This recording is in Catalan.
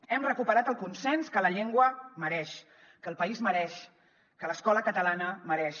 hem recuperat el consens que la llengua mereix que el país mereix que l’escola catalana mereix